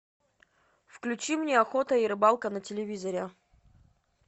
включи мне охота и рыбалка на телевизоре